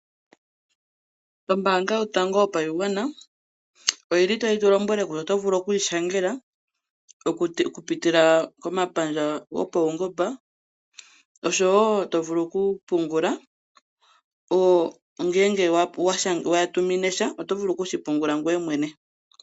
Ombaanga yotango yopashigwana oyili tayi tu lombwele kutya otovulu oku yi shangela oku pitila komapandja go pawungomba, oshowo tovulu oku pungula ngele wa tuminesha otovulu oku shi pungula ngoye mwene.